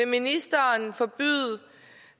ministeren